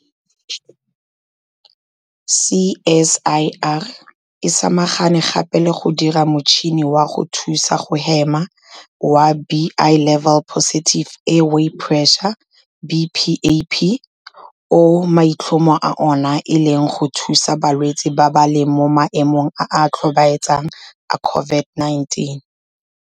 CSIR e samagane gape le go dira motšhini wa go thusa go hema wa Bi-level Positive Airway Pressure, BPAP o maitlhomo a ona e leng go thusa balwetse ba ba leng mo maemong a a tlhobaetsang a COVID-19.